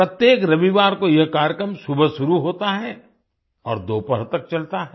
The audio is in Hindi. प्रत्येक रविवार को यह कार्यक्रम सुबह शुरू होता है और दोपहर तक चलता है